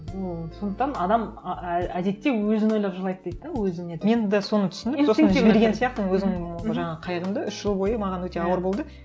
ну сондықтан адам әдетте өзін ойлап жылайды дейді де өзін нетіп мен де соны түсіндім сияқтымын өзімнің жаңағы қайғымды үш жыл бойы маған өте ауыр болды